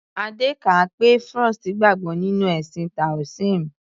Adé kà á pé Frost gbàgbọ́ nínú ẹ̀sìn Toasim.